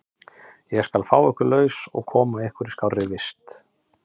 Ég skal fá ykkur laus og koma ykkur í skárri vist.